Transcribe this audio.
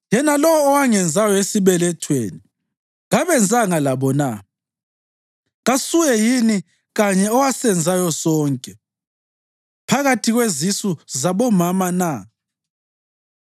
Yena lowo owangenzayo esibelethweni kabenzanga labo na? Kasuye yini yena kanye owasenzayo sonke phakathi kwezisu zabomama na?